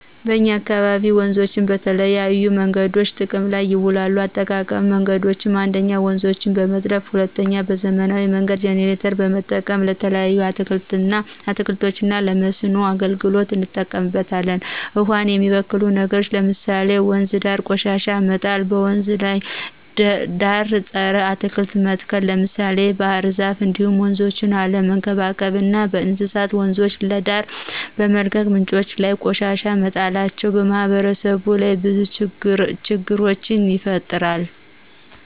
በእኛ አካባቢ ወንዞችን በተለያዬ መንገዶች ጥቅም ላይ ይውላሉ የአጠቃቀም መንገዶችም 1ኞ:-ውንዞችን በመጥለፍ 2ኛ:- በዘመናዊ መንገድ ጀነሬተር በመጠቀም። ለተለያዩ አትክልቶች እና ለመስኖ አገልግሎት እንጠቀምበታለን። ውሃን የሚበክሉ ነገሮች ለምሳሌ:- ወንዝ ዳር ቆሻሻ መጣል; በወንዝ ዳር ፀረ አትክልት መትከል ለምሳሌ ባህርዛፍ እንዲሁም ወንዞችን አለመንከባከብ እና እንስሳት በወንዞች ዳር በመልቀቅ ምንጮች ላይ ቆሻሻ መጣላቸው። በማህበረሰቡ ላይ ብዙ ችግሮችን ይፈጥራል